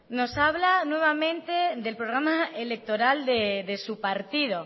nos habla nuevamente del programa electoral de su partido